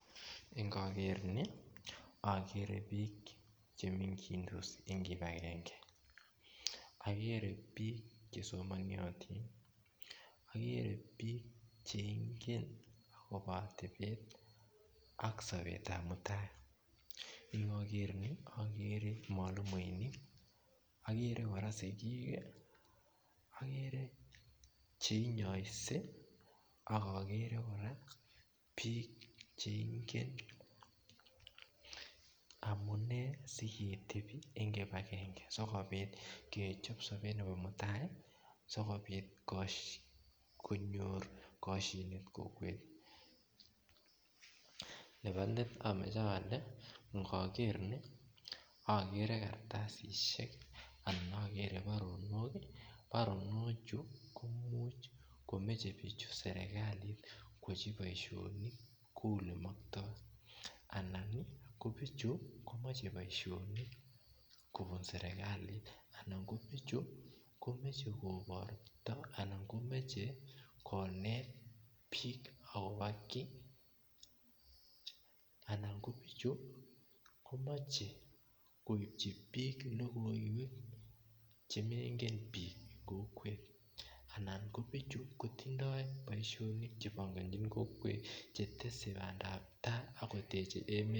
Ingogeer ni ogeere biik chemengidos en kipakenge ogeere biik chesomonotin ogeere biik cheingen akobo otebet ak sobetab muitaet ingogeer ni ogeere mwalimuinik ogeere kora sigiik ogeere cheinyoise aK ogeere kora biik cheingen amunee siketebi en kipakenge sikobiit kechob sobet nebo mutai sikobit koshin konyor koshinet nebolet amoche ole ingogeer ni ogeere kartasisiek ak ogeere baronok baronochu koimuch komeche bichu serkalit koyochi boisionik kou ole moktoi anan ko bichu komoche boisionik kobun serkalit anan kobichu kobortoi anan komoche konet biik akobo ki anan ko bichu komoche koibji biik logoiwek chemoibgen biik kokwet anan ko bichu kkotindoi boisionik chetese bandab tai aK koteji emet